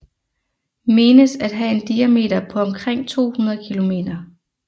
Menes at have en diameter på omkring 200 kilometer